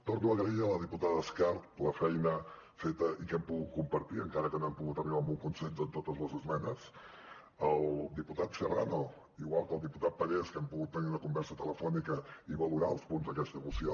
torno a agrair a la diputada escarp la feina feta i que hem pogut compartir encara que no hem pogut arribar a un consens en totes les esmenes al diputat serrano igual que al diputat parés que hem pogut tenir una conversa telefònica i valorar els punts d’aquesta moció